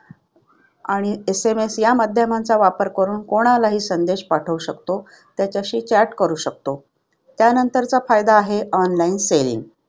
आणि SMS या माध्यमांचा वापर करून कोणालाही संदेश पाठवू शकतो. त्याच्याशी chat करू शकतो. त्यानंतरचा फायदा आहे online saving.